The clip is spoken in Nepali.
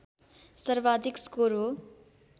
सर्वाधिक स्कोर हो